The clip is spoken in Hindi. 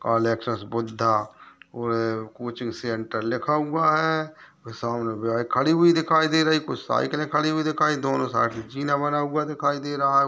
ऑल एक्सेस ] बुद्धा और कोचिंग सेंटर लिखा हुआ है | सामने बाइक खड़ी हुई दिखाई दे रही | कुछ साइकिलें खड़ी हुई दिखाई दोनों साइड से जीना बना हुआ दिखाई दे रहा है --